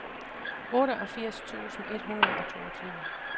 otteogfirs tusind et hundrede og toogtyve